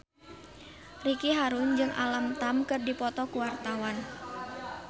Ricky Harun jeung Alam Tam keur dipoto ku wartawan